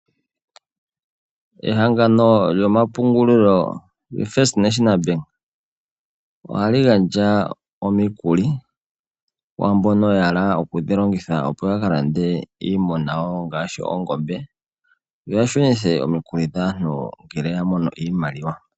Ehangano lyomapungulilo lyo "First National Bank" ohali gandja omikuli kwaambono ya hala oku dhi longitha opo yaka lande iimuna yawo ngaashi oongombe yo ya shunithe omikuli dhaantu ngele ya mono iimaliwa.